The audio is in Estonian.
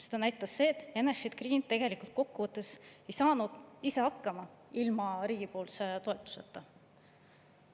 See näitas, et Enefit Green tegelikult kokkuvõttes ei saanud ise hakkama ilma riigi toetuseta.